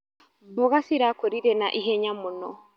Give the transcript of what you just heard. Mboga cirakũrire na ihenya mũno.